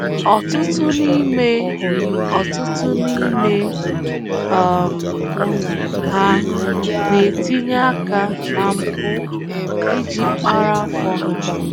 Ọtụtụ n’ime Ọtụtụ n’ime um ha na-etinye aka na mpụ iji kpara afọ ha.